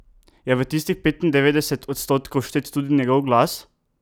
Je v tistih petindevetdeset odstotkov vštet tudi njegov glas?